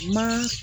Ma